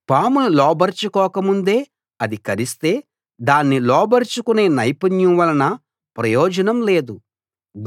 పామును లోబరచుకోక ముందే అది కరిస్తే దాన్ని లోబరచుకునే నైపుణ్యం వలన ప్రయోజనం లేదు